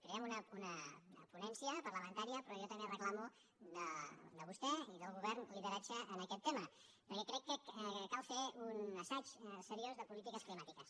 crearem una ponència parlamentària però jo també reclamo de vostè i del govern lideratge en aquest tema perquè crec que cal fer un assaig seriós de polítiques climàtiques